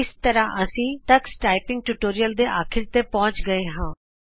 ਇਸ ਤਰ੍ਹਾਂ ਅਸੀਂ ਟਕਸ ਟਾਈਪਿੰਗ ਟਿਯੂਟੋਰੀਅਲ ਦੇ ਅਖੀਰ ਤੇ ਪਹੁੰਚ ਗਏੇ ਹਾਂ